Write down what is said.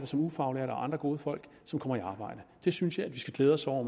som ufaglærte og andre gode folk som kommer i arbejde det synes jeg vi skal glæde os over